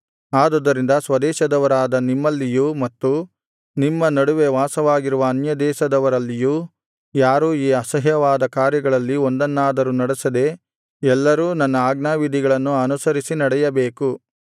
ಆದುದರಿಂದ ಸ್ವದೇಶದವರಾದ ನಿಮ್ಮಲ್ಲಿಯೂ ಮತ್ತು ನಿಮ್ಮ ನಡುವೆ ವಾಸವಾಗಿರುವ ಅನ್ಯದೇಶದವರಲ್ಲಿಯೂ ಯಾರೂ ಈ ಅಸಹ್ಯವಾದ ಕಾರ್ಯಗಳಲ್ಲಿ ಒಂದನ್ನಾದರೂ ನಡೆಸದೆ ಎಲ್ಲರೂ ನನ್ನ ಆಜ್ಞಾವಿಧಿಗಳನ್ನು ಅನುಸರಿಸಿ ನಡೆಯಬೇಕು